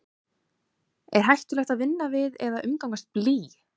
er hættulegt að vinna við eða umgangast blý